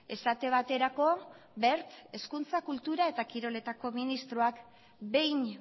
esate baterako wertek hezkuntza kultura eta kiroletako ministroak behin